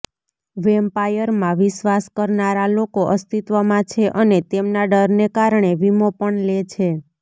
વેમ્પાયરમાં વિશ્વાસ કરનારા લોકો અસ્તિત્વમાં છે અને તેમના ડરને કારણે વિમો પણ લે છે